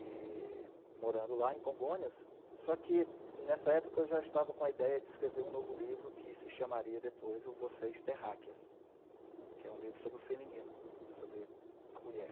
E, morando lá em Congonhas, só que, nessa época, eu já estava com a ideia de escrever um novo livro que se chamaria depois o Você, terráqueas, que é um livro sobre o feminino, sobre a mulher.